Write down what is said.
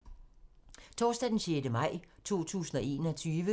Torsdag d. 6. maj 2021